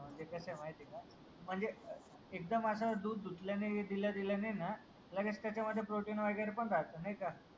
म्हणजे कसं आहे माहिती आहे का म्हणजे एकदम असं दूध धुतल्याने दिल्या दिल्याने ना लगेच त्याच्या मध्ये प्रोटीन वगैरे पण राहतं. नाही का?